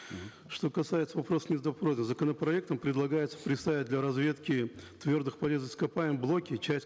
что касается вопросов законопроектом предлагается приставить для разведки твердых полезных ископаемых блоки часть